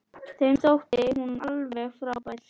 Þeim þótti þú alveg frábær.